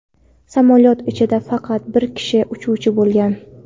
Samolyot ichida faqat bir kishi uchuvchi bo‘lgan.